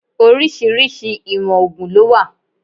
Orísìírísìí ìwọ̀n ògùn ló wà